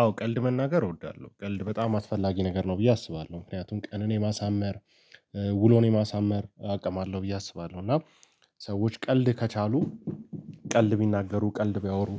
አዎ ቀልድ መናገር እወዳለሁ ቀልድ በጣም አስፈላጊ ነገር ነው ብዬ አስባለሁ ምክንያቱም ቀንን የማሳመር ውሎን የማሳመር አቅም አለው ብዬ አስባለሁ እና ሰዎች ቀልድ ከቻሉ ቀልድ ቢናገሩ፣ ቀልድ ቢያወሩ፣